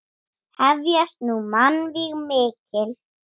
Hefjast nú mannvíg mikil.